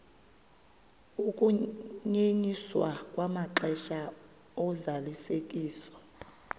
ukunyenyiswa kwamaxesha ozalisekiso